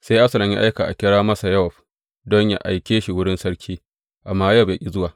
Sai Absalom ya aika a kira masa Yowab don yă aike shi wurin sarki, amma Yowab ya ƙi zuwa.